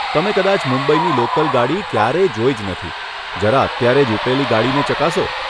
તમે કદાચ મુંબઈની લોકલ ગાડી ક્યારેય જોઈ જ નથી. જરા અત્યારે જ ઉપડેલી ગાડીને ચકાસો.